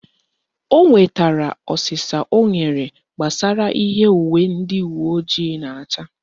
O nwetara ọsịsa o nyere gbasara ihe uwe ndị uweojii na-acha